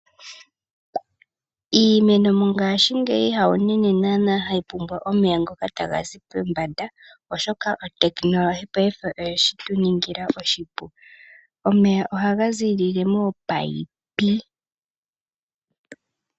Iimeno mongashingeyi hawunene naana hayi pumbwa omeya ngoka taga zi pombanda, oshoka otekinolehi oye tu ningila oshipu. Omeya ohaga ziilile moopayipi.